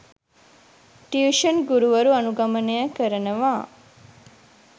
tuition ගුරුවරු අනුගමනය කරනවා..